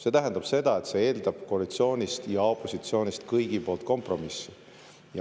See tähendab seda, et see eeldab koalitsioonilt ja opositsioonilt, kõigi poolt kompromissi.